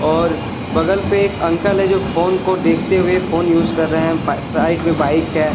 और बगल पे एक अंकल है जो फोन को देखते हुए फोन यूज कर रहे हैं साइड में बाइक है।